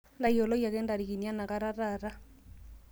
ntayioloki ake intarikini enakata taata